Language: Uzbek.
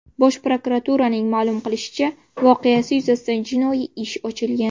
Bosh prokuraturaning ma’lum qilishicha , voqeasi yuzasidan jinoiy ish ochilgan.